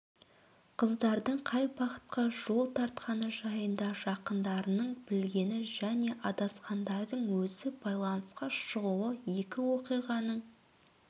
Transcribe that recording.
қыздардың қай бағытқа жол тартқаны жайында жақындарының білгені және адасқандардың өзі байланысқа шығуы екі оқиғаның